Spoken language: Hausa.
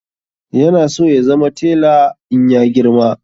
Ya na so ya zama tela in ya girma